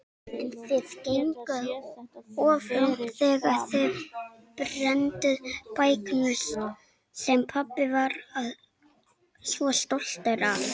En þið genguð of langt þegar þið brennduð bækurnar sem pabbi var svo stoltur af.